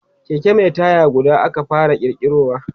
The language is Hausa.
Keke Mai taya guda aka fara kirkirowa